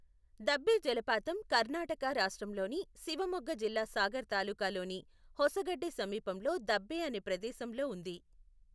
దబ్బే జలపాతం కర్ణాటక రాష్ట్రంలోని శివమొగ్గ జిల్లా సాగర్ తాలూకాలోని హొసగడ్డే సమీపంలో దబ్బే అనే ప్రదేశంలో ఉంది.